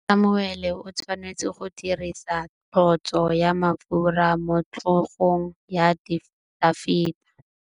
Samuele o tshwanetse go dirisa tlotsô ya mafura motlhôgong ya Dafita.